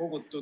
kogutud ...